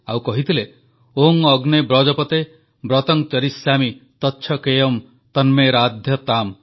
ସେ କହିଥିଲେ ଓଁ ଅଗ୍ନେ ବ୍ରତପତେ ବ୍ରତଂ ଚରିଷ୍ୟାମି ତଚ୍ଛକେୟମ୍ ତନ୍ମେ ରାଧ୍ୟତାମ୍